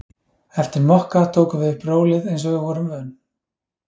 Eftir Mokka tókum við upp rólið eins og við vorum vön.